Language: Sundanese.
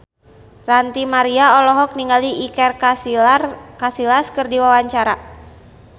Ranty Maria olohok ningali Iker Casillas keur diwawancara